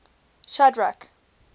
shadrack